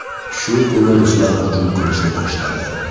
Shu kuni ruslar hujum qilishni boshladi.